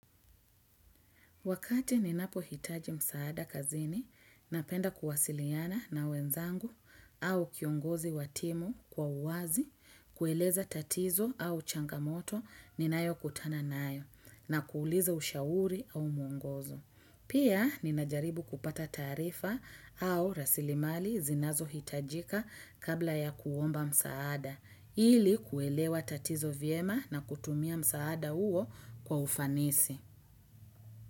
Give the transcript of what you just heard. Wakati ninapohitaji msaada kazini, napenda kuwasiliana na wenzangu au kiongozi wa timu kwa uwazi, kueleza tatizo au changamoto ninayokutana nayo na kuuliza ushauri au muongozo. Pia ninajaribu kupata taarifa au rasilimali zinazohitajika kabla ya kuomba msaada, ili kuelewa tatizo vyema na kutumia msaada huo kwa ufanisi.